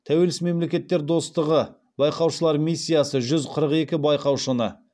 тәуелсіз мемлекеттер достығы байқаушылар миссиясы жүз қырық екі байқаушыны